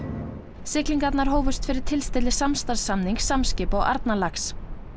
siglingarnar hófust fyrir tilstilli samstarfssamnings Samskipa og Arnarlax